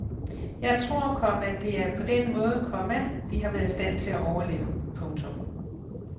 Jeg tror, komma det er på den måde, komma vi har været i stand til at overleve. punktum